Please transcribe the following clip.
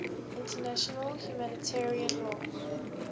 international humanitarian law